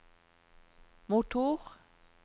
motor